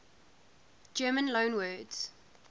german loanwords